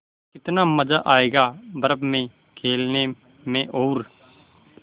कितना मज़ा आयेगा बर्फ़ में खेलने में और